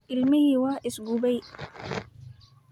Ilmihii waa is gubay.